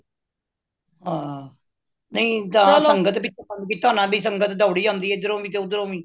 ਹਾਂ ਨਹੀਂ ਸੰਗਤ ਪਿੱਛੇ ਬੰਦ ਕੀਤਾ ਹੋਣਾ ਬਇ ਸੰਗਤ ਦੌੜੀ ਆਂਦੀ ਵੇ ਇਦਰੋ ਵੀ ਤੇ ਓਹਦਰੋ ਵੀ